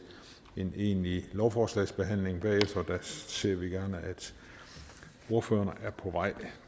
en egentlig lovforslagsbehandling og derfor ser vi gerne at ordførerne er på vej